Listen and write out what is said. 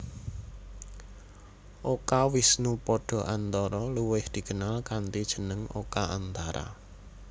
Oka Wisnupada Antara luwih dikenal kanthi jeneng Oka Antara